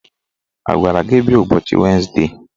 A gwara gị bịa ụbọchị wenesde?